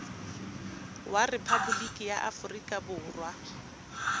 wa rephaboliki ya aforika borwa